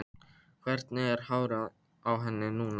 Hvernig er hárið á henni núna?